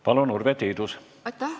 Palun, Urve Tiidus!